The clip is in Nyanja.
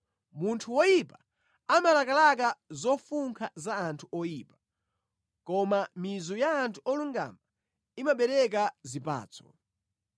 Munthu woyipa amalakalaka zofunkha za anthu oyipa, koma mizu ya anthu olungama imabereka zipatso.